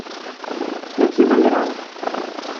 включи бумеранг